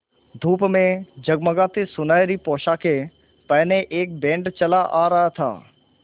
धूप में जगमगाती सुनहरी पोशाकें पहने एक बैंड चला आ रहा था